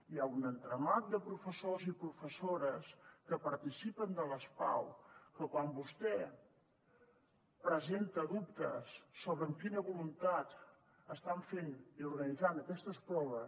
hi ha un entramat de professors i professores que participen de les pau que quan vostè presenta dubtes sobre amb quina voluntat estan fent i organitzant aquestes proves